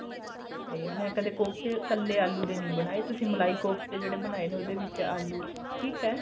ਤੇ ਮੈਂ ਕਦੇ ਕੋਫਤੇ ਕੱਲੇ ਆਲੂ ਦੇ ਨਹੀਂ ਬਨਾਏ ਤੁਸੀਂ ਮਲਾਈ ਕੋਫਤੇ ਜਿਹੜੇ ਬਨਾਏ ਨੇ ਉਹਦੇ ਵਿੱਚ ਆਲੂ ਠੀਕ ਏ